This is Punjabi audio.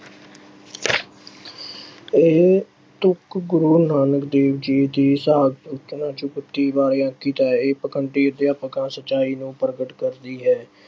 ਇਹ ਤੁਕ ਗੁਰੂ ਨਾਨਕ ਦੇਵ ਜੀ ਦੀ ਅੰਕਿਤ ਹੈ। ਇਹ ਅਧਿਆਤਮਕਾ ਅਤੇ ਸੱਚਾਈ ਨੂੰ ਪ੍ਰਗਟ ਕਰਦੀ ਹੈ।